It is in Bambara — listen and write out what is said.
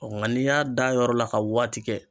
Ɔ nga n'i y'a d'a yɔrɔ la ka waati kɛ